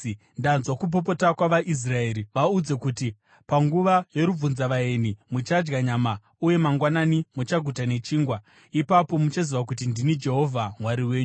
“Ndanzwa kupopota kwavaIsraeri. Vaudze kuti, ‘Panguva yorubvunzavaeni muchadya nyama, uye mangwanani muchaguta nechingwa. Ipapo muchaziva kuti ndini Jehovha Mwari wenyu.’ ”